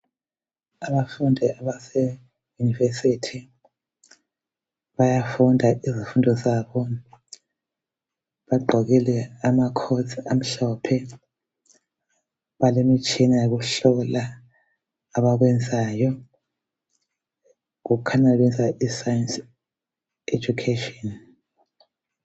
Abafundi abase university Bayafunda izifundo zabo .Bagqokile ama coats amhlophe, bale mitshina yokuhlola abakwenzayo . Kukhanya benza iscience education .